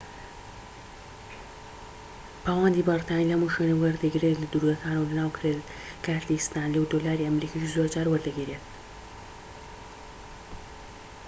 پاوەندی بەریتانی لە هەموو شوێنێك وەردەگیردرێت لە دورگەکان و ناو کرێدت کارتی ستانلی و دۆلاری ئەمریکیش زۆرجار وەردەگیردرێت